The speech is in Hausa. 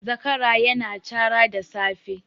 Zakara ya na cara da safe